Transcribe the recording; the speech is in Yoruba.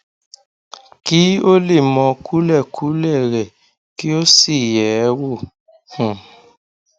kí ó lè mọ kúlẹkúlẹ rẹ kí ó sì yẹ ẹ wò um